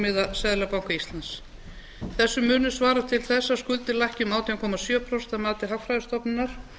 verðbólgumarkmiða seðlabanka íslands þessu munu svara til þess að skuldir lækki um átján komma sjö prósent að mati hagfræðistofnunar